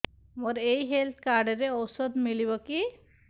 ମୋର ଏଇ health card ରେ ଔଷଧ ମିଳିବ କି